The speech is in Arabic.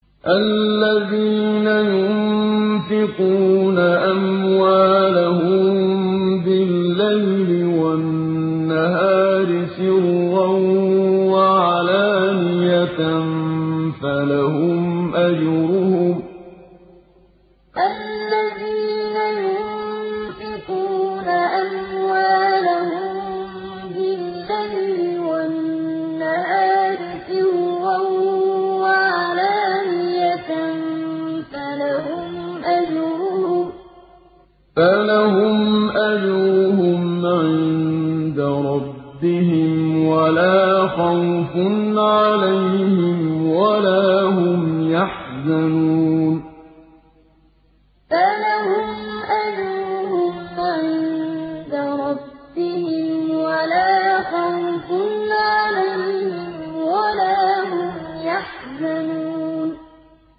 الَّذِينَ يُنفِقُونَ أَمْوَالَهُم بِاللَّيْلِ وَالنَّهَارِ سِرًّا وَعَلَانِيَةً فَلَهُمْ أَجْرُهُمْ عِندَ رَبِّهِمْ وَلَا خَوْفٌ عَلَيْهِمْ وَلَا هُمْ يَحْزَنُونَ الَّذِينَ يُنفِقُونَ أَمْوَالَهُم بِاللَّيْلِ وَالنَّهَارِ سِرًّا وَعَلَانِيَةً فَلَهُمْ أَجْرُهُمْ عِندَ رَبِّهِمْ وَلَا خَوْفٌ عَلَيْهِمْ وَلَا هُمْ يَحْزَنُونَ